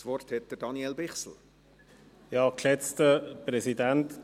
Ich gebe Daniel Bichsel das Wort.